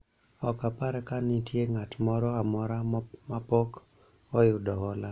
ok apar ka nitie ng'at moro amora mapok oyudo hola